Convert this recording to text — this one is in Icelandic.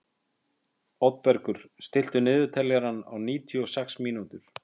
Oddbergur, stilltu niðurteljara á níutíu og sex mínútur.